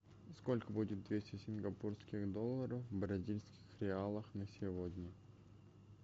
сколько будет двести сингапурских долларов в бразильских реалах на сегодня